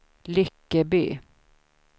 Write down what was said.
Lyckeby